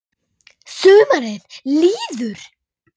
Sumarið líður.